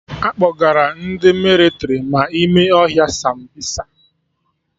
Akpọgara ndị mịlịtrị ma ime ohia Sambisa